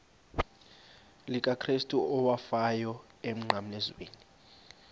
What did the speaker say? likakrestu owafayo emnqamlezweni